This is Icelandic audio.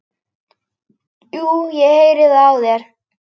Jú, ég heyri það á þér.